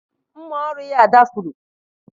Mma ọrụ ya dafuru.